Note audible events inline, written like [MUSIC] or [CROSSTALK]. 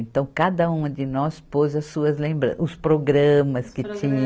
Então, cada uma de nós pôs as suas lembran, os programas que tinha. [UNINTELLIGIBLE]